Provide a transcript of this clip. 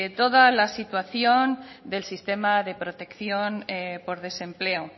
toda la situación del sistema de protección por desempleo